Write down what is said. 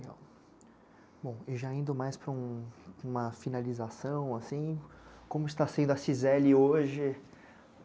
Bom, e já indo mais para um... uma finalização, assim, como está sendo a Cizely hoje?